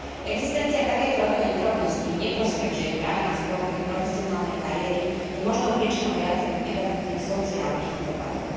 Existencia takejto rodovej nerovnosti v neprospech žien práve na sklonku ich profesionálnej kariéry je možnou príčinou viacerých negatívnych sociálnych dopadov.